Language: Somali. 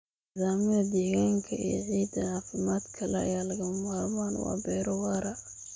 Nidaamyada deegaanka ee ciidda caafimaadka leh ayaa lagama maarmaan u ah beero waara.